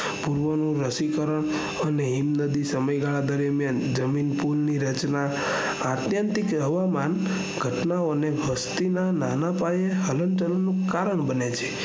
પૂર્વની રસીકરણ અને હિમ નદી સમય ગાલા દરમિયાન જમીન ની રચનાઆત્યંતિક હવામાન ઘટના ઓને દ્રષ્ટિના નાના પાયે હલનચલન નું કારણ બને છે